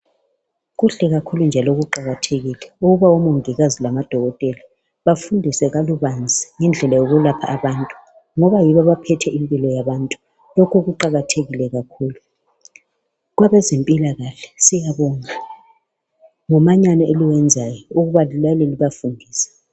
Kuhle kakhulu njalo kuqakathekile ukuba omongikazi lamadokotela bafundiswe kabanzi ngendlela yokulapha abantu ngoba yibo abaphethe impilo yabantu lokho kuqakathekile kakhulu, kwabezempilakahle siyabonga ngomanyano eliwenzayo ukuba liyale libafundisa.